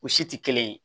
O si tɛ kelen ye